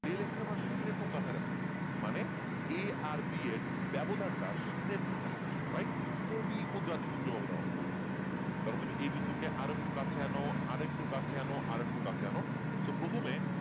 del X এর মান শুন্যের খুব কাছা কাছী মানে A আর B এর ব্যবধান টা শুন্যের খুব কাছা কাছী right কবি ক্ষুদ্র থেকে উজ্জ ব্যবধান অবস্থিত ধরো তুমি A বিন্দু কে আর একটু কাছে আনো আর একটু কাছে আনো আর একটু কাছে আনো so প্রথমে